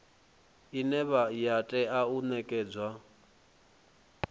ine ya tea u nekedzwa